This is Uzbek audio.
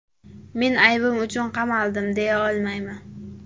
Men aybim uchun qamaldim, deya olmayman.